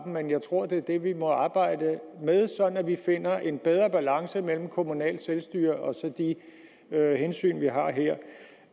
men jeg tror det er det vi må arbejde med sådan at vi finder en bedre balance mellem kommunalt selvstyre og de hensyn vi har her